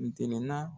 Ntɛnɛnna